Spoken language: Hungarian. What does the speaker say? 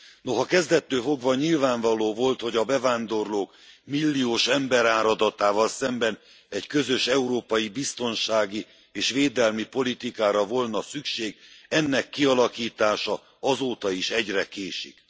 Noha kezdettől fogva nyilvánvaló volt, hogy a bevándorlók milliós emberáradatával szemben egy közös európai biztonsági és védelmi politikára volna szükség, ennek kialakítása azóta is egyre késik.